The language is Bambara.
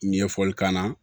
Ɲɛfɔli k'an na